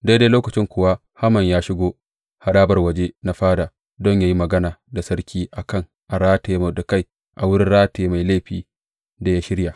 Daidai lokacin kuwa Haman ya shigo harabar waje na fada don yă yi magana da sarki a kan a rataye Mordekai a wurin rataye mai laifin da ya shirya.